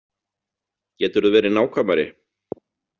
Geturðu verið nákvæmari?